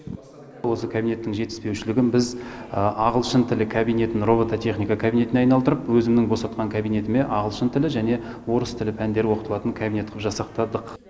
осы кабинеттің жетіспеушілігін біз ағылшын тілі кабинетін роботехника кабинетіне айналдырып өзімнің босатқан кабинетіме ағылшын тілі және орыс тілі пәндері оқытылатын кабинет қып жасақтадық